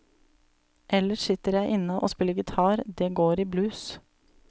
Ellers sitter jeg inne og spiller gitar, det går i blues.